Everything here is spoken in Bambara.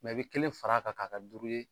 i be kelen fara a kan ka kɛ duuru ye.